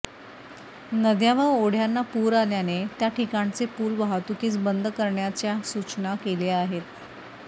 नद्या व ओढ्यांना पूर आल्याने त्याठिकाणचे पूल वाहतुकीस बंद करण्याच्या सुचना केल्या आहेत